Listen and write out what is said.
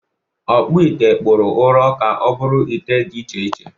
Ọkpụite kpụrụ ụrọ ka ọ bụrụ ite dị iche iche.